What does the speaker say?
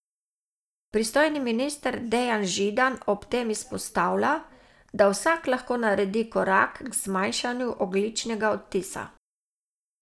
Pristojni minister Dejan Židan ob tem izpostavlja, da vsak lahko naredi korak k zmanjšanju ogljičnega odtisa.